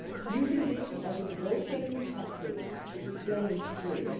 Using this as a negotiating tactic is plain silly.